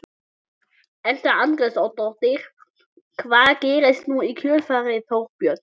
Edda Andrésdóttir: Hvað gerist nú í kjölfarið Þorbjörn?